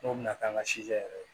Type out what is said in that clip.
N'o bɛna k'an ka yɛrɛ